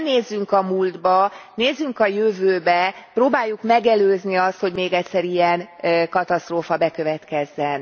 Ne nézzünk a múltba, nézzünk a jövőbe, próbáljuk megelőzni azt, hogy még egyszer ilyen katasztrófa bekövetkezzen.